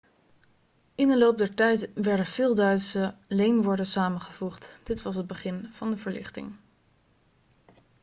in de loop der tijd werden veel duitse leenwoorden samengevoegd dit was het begin van de verlichting